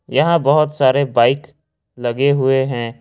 यहां बहुत सारे बाइक लगे हुए हैं।